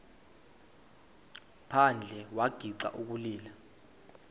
phandle wagixa ukulila